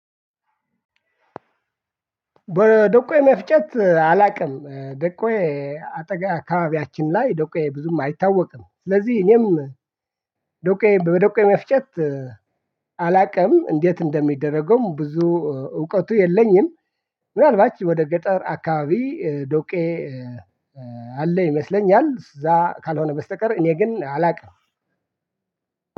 በደቆይ መፍጨት አላውቅም ደቆይ አካባቢያችን ላይ ዶቄ ብዙም አይታወቅም ስለዚህ እኔም ዶቄ በዶቄ መፍጨት። አላውቅም እንዴት እንደሚደረገውም ብዙ እውቀቱ የለኝም። ምናልባት ወደ ገጠር አካባቢ ዶቄ አለ ይመስለኛል። እዛ ካልሆነ በስተቀር እኔ ግን አላውቅም።